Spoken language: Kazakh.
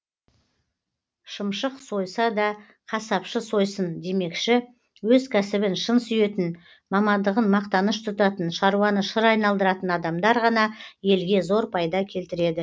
шымшық сойса да қасапшы сойсын демекші өз кәсібін шын сүйетін мамандығын мақтаныш тұтатын шаруаны шыр айналдыратын адамдар ғана елге зор пайда келтіреді